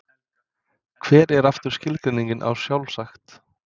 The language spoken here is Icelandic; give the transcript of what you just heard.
Hver er aftur skilgreiningin á sjálfsagt?